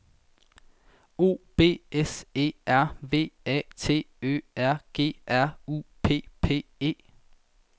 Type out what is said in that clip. O B S E R V A T Ø R G R U P P E